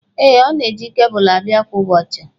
Ee, ọ na-eji kebụlụ abịa kwa ụbọchị.